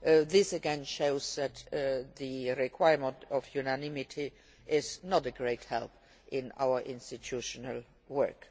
This again shows that the requirement for unanimity is not a great help in our institutional